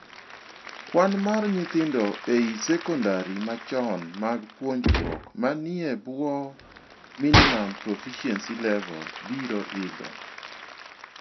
Kwan mar nyithindo ei secondary machon mag puonjruok manie e bwoo minimum profiency level biro idho.